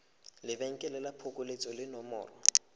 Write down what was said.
lebenkele la phokoletso le nomoro